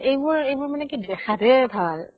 এইবোৰ এইবোৰ মানে কি দেখাত হে ভাল